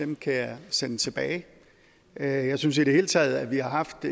dem kan jeg sende tilbage jeg synes i det hele taget at vi har haft